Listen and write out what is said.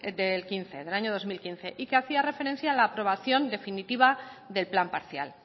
del año dos mil quince y que hacía referencia a la aprobación definitiva del plan parcial